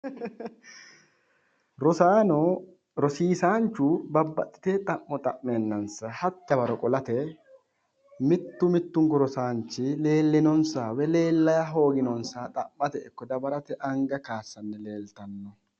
Rosaano rosiisanchu babbaxxitewo xa'mo xa'meennansa hatte dawaro qolate mittu mittunku rosaanchi leellinonsaha woyi leella hooginonsaha xa'mate ikko dawarate anga kaayiissanni leeltanno.